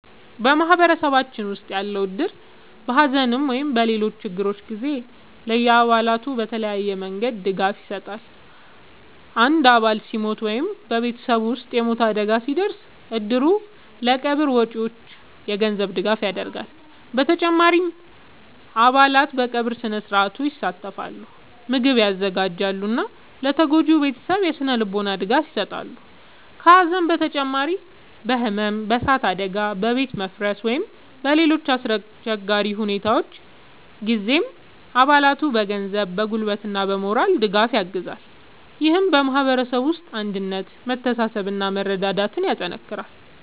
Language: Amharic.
በማህበረሰባችን ውስጥ ያለው እድር በሐዘን ወይም በሌሎች ችግሮች ጊዜ ለአባላቱ በተለያዩ መንገዶች ድጋፍ ይሰጣል። አንድ አባል ሲሞት ወይም በቤተሰቡ ውስጥ የሞት አደጋ ሲደርስ፣ እድሩ ለቀብር ወጪዎች የገንዘብ ድጋፍ ያደርጋል። በተጨማሪም አባላት በቀብር ሥነ-ሥርዓት ይሳተፋሉ፣ ምግብ ያዘጋጃሉ እና ለተጎጂው ቤተሰብ የሥነ-ልቦና ድጋፍ ይሰጣሉ። ከሐዘን በተጨማሪ በሕመም፣ በእሳት አደጋ፣ በቤት መፍረስ ወይም በሌሎች አስቸጋሪ ሁኔታዎች ጊዜም አባላቱን በገንዘብ፣ በጉልበት እና በሞራል ድጋፍ ያግዛል። ይህም በማህበረሰቡ ውስጥ አንድነትን፣ መተሳሰብን እና መረዳዳትን ያጠናክራል።